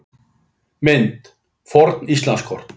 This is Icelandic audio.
Mynd: Forn Íslandskort.